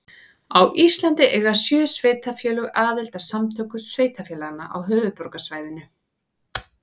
Á Íslandi eiga sjö sveitarfélög aðild að Samtökum sveitarfélaga á höfuðborgarsvæðinu.